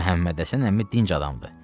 Məhəmməd Həsən əmi dinc adamdır.